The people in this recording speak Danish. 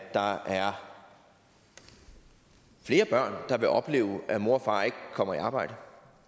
der er flere børn der vil opleve at mor og far ikke kommer i arbejde